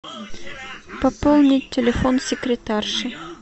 пополнить телефон секретарши